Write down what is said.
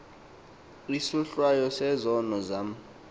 isohlwayo sezono zam